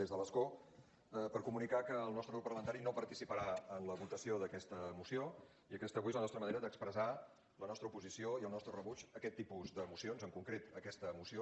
des de l’escó per comunicar que el nostre grup parlamentari no participarà en la votació d’aquesta moció i aquesta avui és la nostra manera d’expressar la nostra oposició i el nostre rebuig a aquest tipus de mocions en concret a aquesta moció